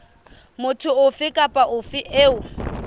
motho ofe kapa ofe eo